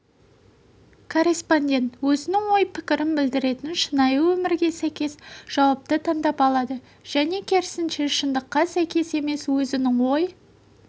корреспондент өзінің ой пікірін білдіретін шынайы өмірге сәйкес жауапты таңдап алады және керісінше шындыққа сәйкес емес өзінің ой